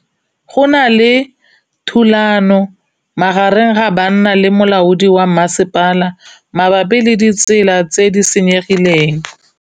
Go na le thulanô magareng ga banna le molaodi wa masepala mabapi le ditsela tse di senyegileng.